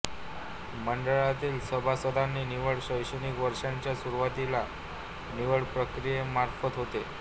मंडळातील सभासदांची निवड शैक्षणिक वर्षाच्या सुरूवातीला निवडप्रक्रियेमार्फत होते